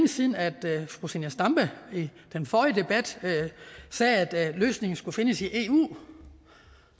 siden at fru zenia stampe i den forrige debat sagde at løsningen skulle findes i eu